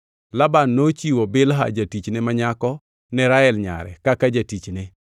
Laban nochiwo Bilha jatichne ma nyako ne Rael nyare kaka jatichne.